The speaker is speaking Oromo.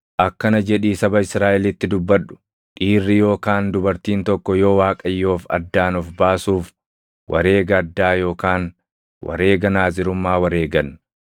“Akkana jedhii saba Israaʼelitti dubbadhu: ‘Dhiirri yookaan dubartiin tokko yoo Waaqayyoof addaan of baasuuf wareega addaa yookaan wareega Naazirummaa wareegan,